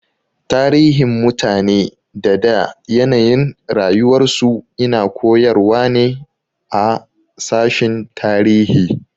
Tarihin mutane da da yanayin rayuwar su ina koyarwa ne a sashin tarihi